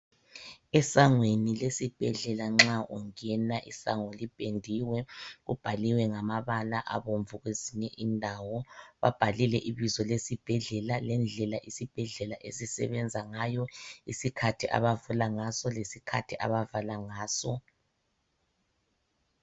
Esangweni lesibhedlela nxa ungena isango lipendiwe. Kubhaliwe ngamabala abomvu kwezinye indawo kubhalwe ibizo lesibhedlela lendlela abasebenza ngayo, isikhathi abavula ngaso lesikhathi abavala ngaso.